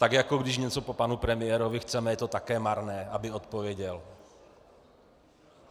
Tak jako když něco po panu premiérovi chceme, je to taky marné, aby odpověděl.